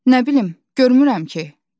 "Nə bilim, görmürəm ki?" dedim.